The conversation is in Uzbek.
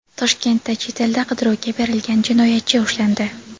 Toshkentda chet elda qidiruvga berilgan jinoyatchi ushlandi.